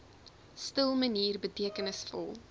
stil manier betekenisvol